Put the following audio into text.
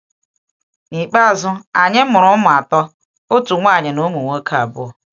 N’ikpeazụ, anyị mụrụ ụmụ atọ, otu nwaanyị na ụmụ nwoke abụọ.